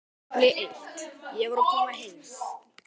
KAFLI EITT Ég var að koma heim.